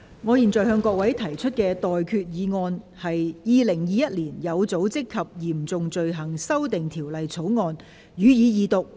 我現在向各位提出的待決議題是：《2021年有組織及嚴重罪行條例草案》，予以二讀。